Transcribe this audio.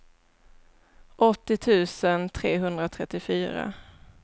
åttio tusen trehundratrettiofyra